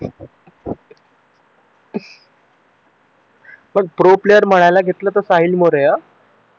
पण pro player मळायला घेतलं ते साहिल मुळे अं